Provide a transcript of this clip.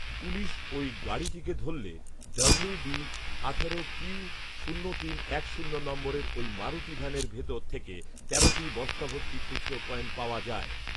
police ওই গাড়িটিকে ধরলে ডব্লিউবি আঠারো কিউ শূন্য তিন এক শূন্য নম্বরের ওই মারুতি ভ্যানের ভেতর থেকে তেরোটি বস্তাভর্তি খুচরো কয়েন পাওয়া যায়